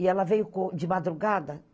E ela veio co de madrugada.